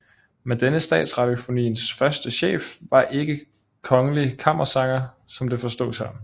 Men denne Statsradiofoniens første chef var ikke kongelig kammersanger som det forstås her